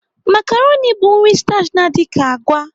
Makaroni bụ nri stachi na-adị ka agwa.